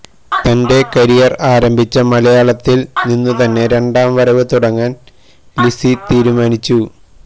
തന്റെ കരിയർ ആരംഭിച്ച മലയാളത്തിൽ നിന്നുത്തന്നെ രണ്ടാം വരവ് തുടങ്ങാൻ ലിസി തീരുമാനിച്ചു